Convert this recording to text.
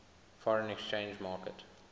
foreign exchange market